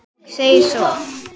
Og segir svo